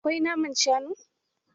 Akwai naman shanu?